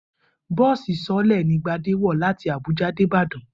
Bó̩ò̩sì so̩ó̩lè̩ ni Gbadé wò̩ láti Àbúja dé Ìbàdàn